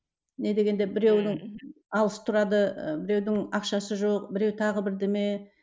не дегенде біреудің алыс тұрады ы біреудің ақшасы жоқ біреу тағы бірдеме